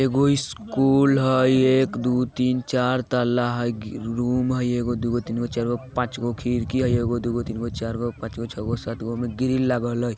एगो स्कूल हई एक दू तीन चार तल्ला हइ रूम हय एगो दूगो तीनगो चारगो पांचगो खिरकी हई एगो दूगो तीनगो चारगो पांचगो छगो सातगो एमे ग्रिल लागल हई।